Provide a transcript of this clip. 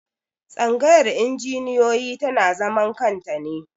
Tsangayar injiniyoyi tana zaman kanta ne.